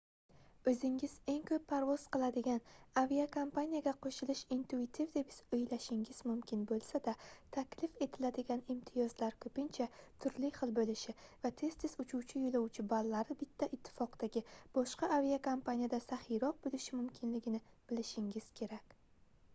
oʻzingiz eng koʻp parvoz qiladigan aviakompaniyaga qoʻshilish intuitiv deb oʻylashingiz mumkin boʻlsa-da taklif etiladigan imtiyozlar koʻpincha turli xil boʻlishi va tez-tez uchuvchi yoʻlovchi ballari bitta ittifoqdagi boshqa aviakompaniyada saxiyroq boʻlishi mumkinligini bilishingiz kerak